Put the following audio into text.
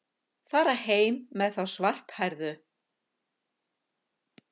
Fara heim með þá svarthærðu.